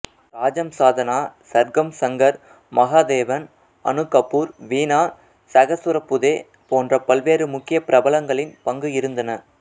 ராஜம் சாதனா சர்கம் சங்கர் மகாதேவன் அனு கபூர் வீணா சகசுரபுதே போன்ற பல்வேறு முக்கிய பிரபலங்களின் பங்கு இருந்தன